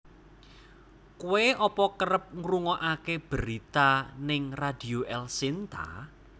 Koe opo kerep ngrungoake berita ning Radio Elshinta?